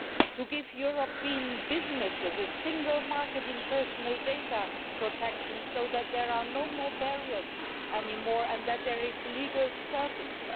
to give European businesses a single market in personal data protection so that there are no more barriers and there is legal certainty.